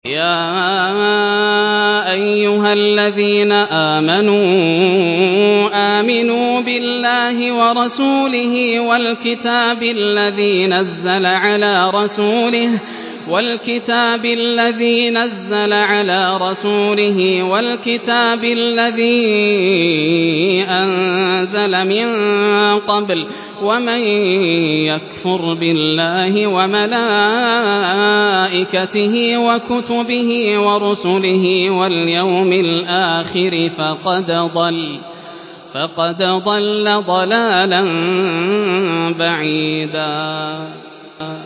يَا أَيُّهَا الَّذِينَ آمَنُوا آمِنُوا بِاللَّهِ وَرَسُولِهِ وَالْكِتَابِ الَّذِي نَزَّلَ عَلَىٰ رَسُولِهِ وَالْكِتَابِ الَّذِي أَنزَلَ مِن قَبْلُ ۚ وَمَن يَكْفُرْ بِاللَّهِ وَمَلَائِكَتِهِ وَكُتُبِهِ وَرُسُلِهِ وَالْيَوْمِ الْآخِرِ فَقَدْ ضَلَّ ضَلَالًا بَعِيدًا